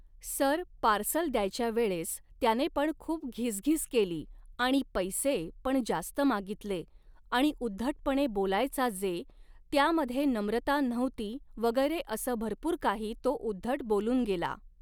sir parcel द्यायच्या वेळेस त्याने पण खूप घीसघीस केली आणि पैसे ,पण जास्त मागितले आणि उद्धटपणे बोलायचा जे, त्यामध्ये नम्रता नव्हती वगैरे असं भरपूर काही तो उद्धट बोलून गेला